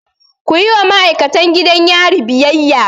Kuyi wa ma'aikatan gidan yari biyayya!